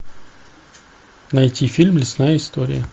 найти фильм лесная история